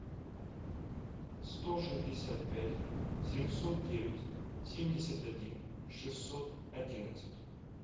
сто шестьдесят пять семьсот девять семьдесят один шестьсот одиннадцать